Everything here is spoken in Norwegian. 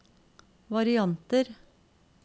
varianter